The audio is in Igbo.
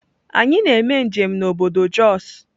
Anyi na eme njem na obodo Jos.